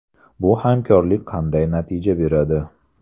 Bu hamkorlik qanday natija beradi?